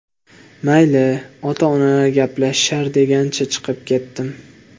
Mayli, ota-onalar gaplashishar degancha chiqib ketdim.